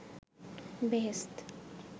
বেহেশত